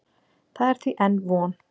Það er því enn von.